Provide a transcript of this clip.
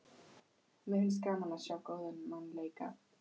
Mér finnst gaman að sjá góðan mann leika.